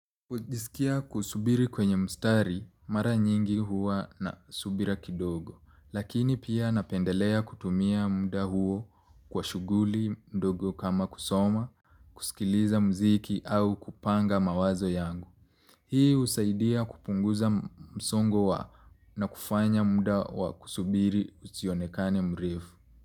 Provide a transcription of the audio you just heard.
Kujisikia kusubiri kwenye mstari, mara nyingi huwa na subira kidogo, lakini pia napendelea kutumia muda huo kwa shughuli ndogo kama kusoma, kusikiliza muziki au kupanga mawazo yangu. Hii husaidia kupunguza msongo wa na kufanya muda wa kusubiri usionekane mrefu.